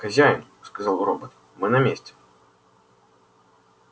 хозяин сказал робот мы на месте